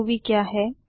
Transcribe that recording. Ruby क्या है